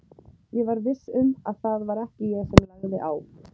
Ég var viss um að það var ekki ég sem lagði á.